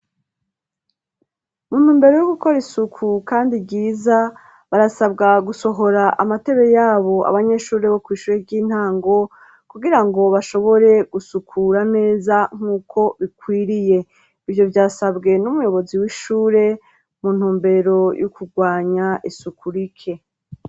Mu ntumbero yo gukora isuku kandi ryiza, barasabwa gusohora amatebe yabo abanyeshuri bo kw' ishure ry'intango, kugirango bashobore gusukura neza nk'uko bikwiriye. Ivyo vyasabwe n'umuyobozi w'ishure mu ntumbero yo kurwanya isuku rike.